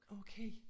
Okay